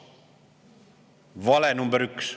" Vale number üks.